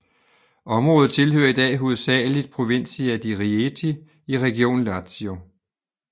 Området tilhører i dag hovedsageligt Provincia di Rieti i regionen Lazio